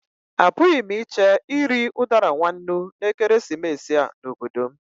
Apụghị m iche iri udara nwa nnú na ekeresimesi a n'obodo m.